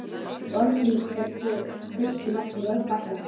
Í orðsins fyllstu merkingu, bætti hann við.